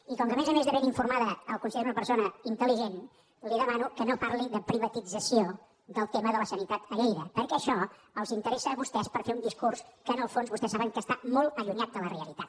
i com que a més a més de ben informada el considero una persona intel·ligent li demano que no parli de privatització del tema de la sanitat a lleida perquè això els interessa a vostès per fer un discurs que en el fons vostès saben que està molt allunyat de la realitat